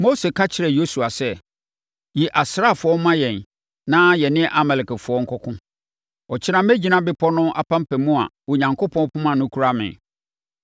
Mose ka kyerɛɛ Yosua sɛ, “Yi asraafoɔ ma yɛn na yɛne Amalekfoɔ nkɔko. Ɔkyena mɛgyina bepɔ no apampam a Onyankopɔn poma no kura me.”